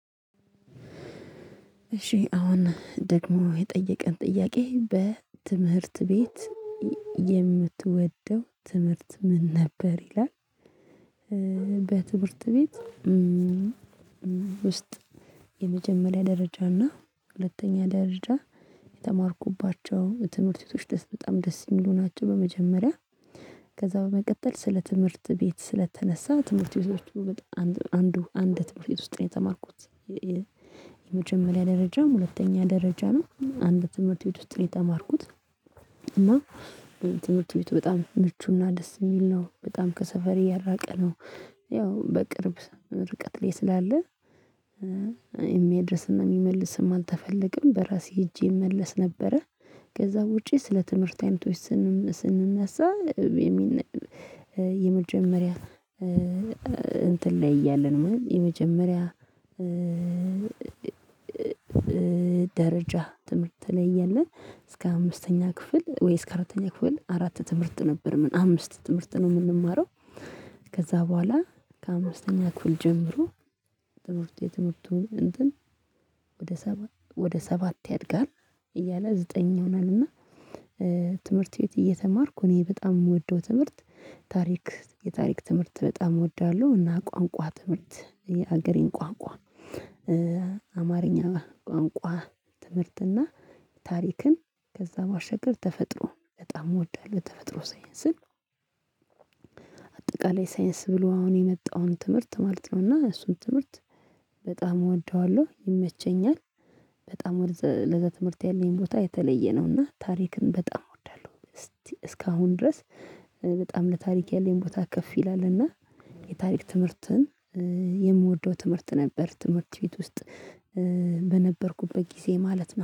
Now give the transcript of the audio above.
እሺ አሁን ደግሞ የጠየቀን ጥያቄ በትምህርት ቤት የምትወደው ትምህርት ምን ነበር ይላል? በትምህርት ቤት ውስጥ የመጀመሪያ ደረጃ እና ሁለተኛ ደረጃ የተማርኩባቸው ትምህርት ሴቶች ደስ በጣም ደስ የሚሉ ናቸው። በመጀመሪያ ከዛ በመቀጠል ስለ ትምህርት ቤት ስለተነሳ ትምህርት ቤቶች በአንዱ አንድ ትምህርት ቤት ውስጥ የተማርኩት የመጀመሪያ ደረጃም ሁለተኛ ደረጃ ነው አንድ ትምህርት ቤት ውስጥ ነው የተማርኩት። እና ትምህርት ቤቱ በጣም ምቹና ደስ የሚል ነው። በጣም ከሰፈሬ ያልራቀ ነው። ያው በቅርብ ርቀት ላይ ስላለ የሚያደርስና የሚመልስም አልተፈለግም በራሴ ሄጄ እመለስ ነበረ። ከዛ ውጪ ስለ ትምህርት አይነቶች። ስንነሳ የመጀመሪያ እንትን ላይ እያለን ነው። የመጀመሪያ ደረጃ ትምህርት ትለያለህ? እስከ አምስተኛ ክፍል ወይስ ከአራተኛ ክፍል አራት ትምህርት ነበር ምን አምስት ትምህርት ነው የምንማረው? ከዛ በኋላ ከአምስተኛ ክፍል ጀምሮ ትምህርት የትምህርቱ እንትን ወደ ሰባት ወደ ሰባት ያድጋል። እያለ ዘጠነኛ ይሆናል። እና ትምህርት ቤት እየተማርኩ እኔ በጣም የምወደው ትምህርት ታሪክ የታሪክ ትምህርት በጣም እወዳለሁ። እና ቋንቋ ትምህርት የሀገሬን ቋንቋ አማርኛ ቋንቋ ትምህርትና ታሪክን ከዛ ማሸገር ተፈጥሮ በጣም እወዳለሁ። የምወዳለት ተፈጥሮ ሳይንስን አጠቃላይ ሳይንስ ብሎ አሁን የመጣውን ትምህርት ማለት ነውና እሱን ትምህርት በጣም እወደዋለሁ ይመቸኛል። በጣም ለዘ ትምህርት ያለኝ ቦታ የተለየ ነው። እና ታሪክን በጣም እወዳለሁ። እስካሁን ድረስ በጣም ለታሪክ ያለኝ ቦታ ከፍ ይላልና የታሪክ ትምህርትን የምወደው ትምህርት ነበር። ትምህርት ቤት ውስጥ በነበርኩበት ጊዜ ማለት ነው